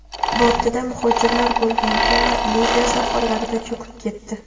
Bortida muhojirlar bo‘lgan kema Liviya sohillarida cho‘kib ketdi.